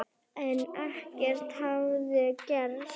En ekkert hafði gerst.